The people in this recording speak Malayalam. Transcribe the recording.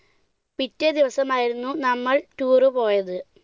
പിറ്റേ ദിവസമായിരുന്നു നമ്മൾ tour പോയത്.